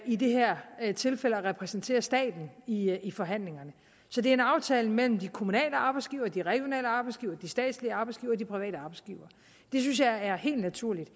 i det her her tilfælde at repræsentere staten i i forhandlingerne så det er en aftale mellem de kommunale arbejdsgivere de regionale arbejdsgivere de statslige arbejdsgivere og de private arbejdsgivere det synes jeg er helt naturligt